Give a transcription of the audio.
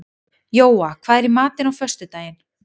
Jóa, hvað er í matinn á föstudaginn?